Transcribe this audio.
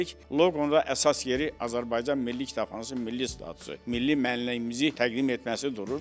Loqonun əsas yeri Azərbaycan Milli Kitabxanasının milli statusu, milli mənliyimizi təqdim etməsi durur.